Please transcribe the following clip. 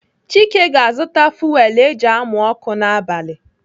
Chike ga-azụta fuwelu eji amụ ọkụ n'abali.